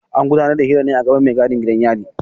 An gudanar da hirar ne a gaban mai gadin gidan yari.